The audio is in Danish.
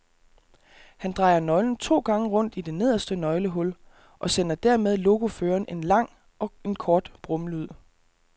Han drejer nøglen to gange rundt i det nederste nøglehul og sender dermed lokoføreren en lang og en kort brummelyd.